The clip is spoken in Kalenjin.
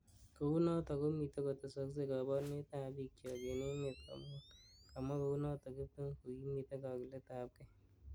Kounoto komitei kotesakse kaborunetab bik chok eng emet komugul kamwa kounot kiptum kokimiti kakiketabkei